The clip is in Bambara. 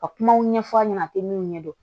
Ka kumaw ɲɛfɔ a ɲɛna a tɛ min ɲɛ dɔn